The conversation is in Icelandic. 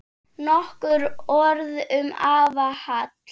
Nokkur orð um afa Hall.